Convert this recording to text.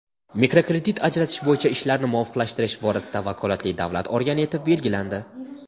mikrokredit ajratish bo‘yicha ishlarni muvofiqlashtirish borasida vakolatli davlat organi etib belgilandi.